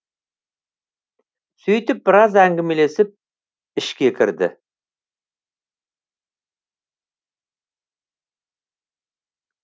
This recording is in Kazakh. сөйтіп біраз әңгімелесіп ішке кірді